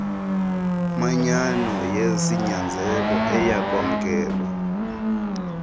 manyano yesinyanzelo eyakwamkelwa